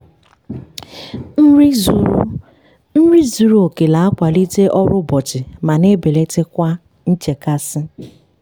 nri zuru nri zuru oke na-akwalite ọrụ ụbọchị ma na-ebelata kwa nchekasị.